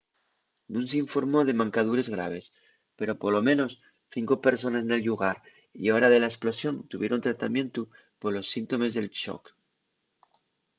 nun s’informó de mancadures graves pero polo menos cinco persones nel llugar y hora de la esplosión tuvieron tratamientu polos síntomes del xoc